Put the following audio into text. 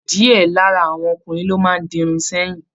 Diẹ lára àwọn ọkùnrin máa n di Irun sẹyìn.